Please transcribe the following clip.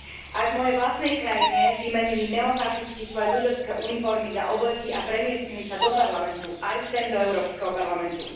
Aj v mojej vlastnej krajine vymenili neofašisti svoje ľudácke uniformy za obleky a premiestnili sa do parlamentu aj sem do Európskeho parlamentu.